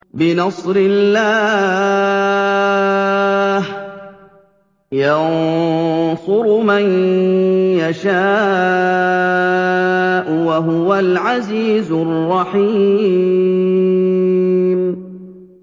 بِنَصْرِ اللَّهِ ۚ يَنصُرُ مَن يَشَاءُ ۖ وَهُوَ الْعَزِيزُ الرَّحِيمُ